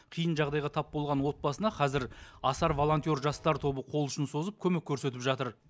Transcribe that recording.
қиын жағдайға тап болған отбасына қазір асар волонтер жастар тобы қол ұшын созып көмек көрсетіп жатыр